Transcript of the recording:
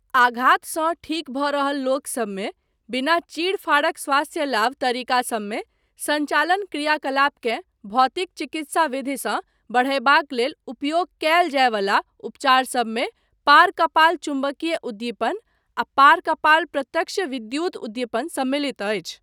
आघातसँ ठीक भऽ रहल लोकसबमे बिना चीड़ फाड़क स्वास्थ्य लाभ तरीकासबमे सञ्चालन क्रियाकलापकेँ भौतिक चिकित्सा विधिसँ बढ़यबाक लेल उपयोग कयल जायवला उपचारसबमे पार कपाल चुम्बकीय उद्दीपन आ पार कपाल प्रत्यक्ष विद्युत उद्दीपन सम्मिलित अछि।